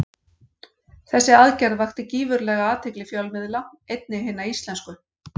Þessi aðgerð vakti gífurlega athygli fjölmiðla, einnig hinna íslensku.